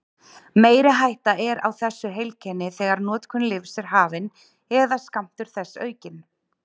Meiri hætta er á þessu heilkenni þegar notkun lyfs er hafin eða skammtur þess aukinn.